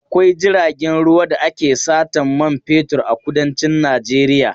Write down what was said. Akwai jiragen ruwa da ake satan man fetur a kudancin Najeiya.